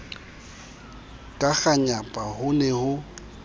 ka kganyapa ho ne ho